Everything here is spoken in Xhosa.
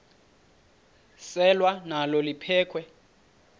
selwa nalo liphekhwe